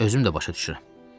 Özüm də başa düşürəm.